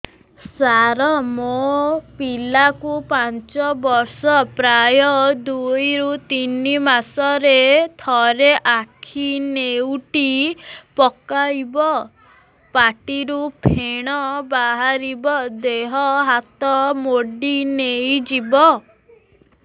ସାର ମୋ ପିଲା କୁ ପାଞ୍ଚ ବର୍ଷ ପ୍ରାୟ ଦୁଇରୁ ତିନି ମାସ ରେ ଥରେ ଆଖି ନେଉଟି ପକାଇବ ପାଟିରୁ ଫେଣ ବାହାରିବ ଦେହ ହାତ ମୋଡି ନେଇଯିବ